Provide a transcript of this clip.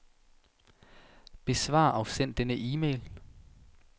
Besvar og send denne e-mail.